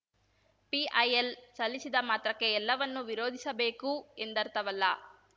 PIL ಸಲ್ಲಿಸಿದ ಮಾತ್ರಕ್ಕೆ ಎಲ್ಲವನ್ನೂ ವಿರೋಧಿಸಬೇಕು ಎಂರ್ಥವಲ್ಲ